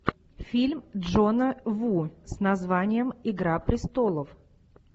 фильм джона ву с названием игра престолов